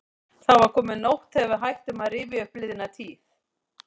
Það var komin nótt þegar við hættum að rifja upp liðna tíð.